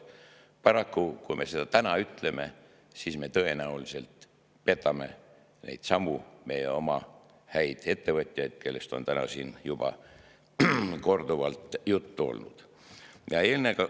Paraku, kui me seda täna ütleme, siis me tõenäoliselt petame neidsamu oma häid ettevõtjaid, kellest on tänagi siin juba korduvalt juttu olnud.